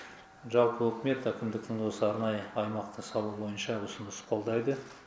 жалпы үкімет әкімдіктің осы арнайы аймақты салу бойынша ұсыныс қолдайды